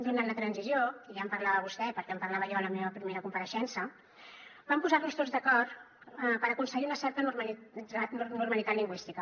durant la transició i ja en parlava vostè perquè en parlava jo a la meva primera compareixença vam posar nos tots d’acord per aconseguir una certa normalitat lingüística